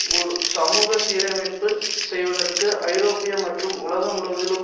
ஒரு சமூக சீரமைப்பை செய்வதற்கு ஐரோப்பிய மற்றும் உலகம் முழுவதிலும்